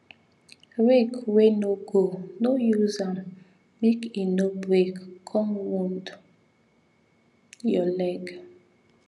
rake wey no go no use am make e no break come wound your leg